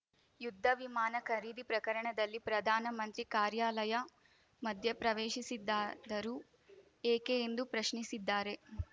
ಯುದ್ಧ ವಿಮಾನ ಖರೀದಿ ಪ್ರಕರಣದಲ್ಲಿ ಪ್ರಧಾನ ಮಂತ್ರಿ ಕಾರ್ಯಾಲಯ ಮಧ್ಯೆ ಪ್ರವೇಶಿಸಿದ್ದಾದರೂ ಏಕೆ ಎಂದು ಪ್ರಶ್ನಿಸಿದ್ದಾರೆ